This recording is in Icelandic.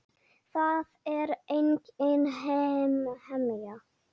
Það er engin hemja.